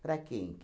Para quem?